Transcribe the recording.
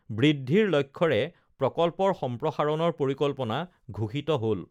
বৃদ্ধিৰ লক্ষ্যৰে প্ৰকল্পৰ সম্প্ৰসাৰণৰ পৰিকল্পনা ঘোষিত হল